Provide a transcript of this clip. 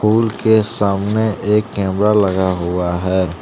फूल के सामने एक कैमरा लगा हुआ है।